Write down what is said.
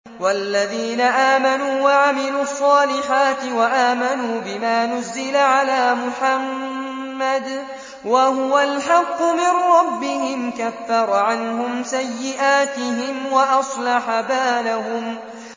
وَالَّذِينَ آمَنُوا وَعَمِلُوا الصَّالِحَاتِ وَآمَنُوا بِمَا نُزِّلَ عَلَىٰ مُحَمَّدٍ وَهُوَ الْحَقُّ مِن رَّبِّهِمْ ۙ كَفَّرَ عَنْهُمْ سَيِّئَاتِهِمْ وَأَصْلَحَ بَالَهُمْ